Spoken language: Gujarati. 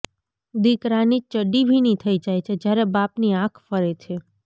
દીકરાની ચડ્ડી ભીની થઈ જાય છે જ્યારે બાપની આંખ ફરે છે